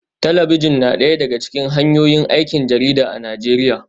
Talabijin na daya daga cikin hanyoyin aikin jarida a Najeriya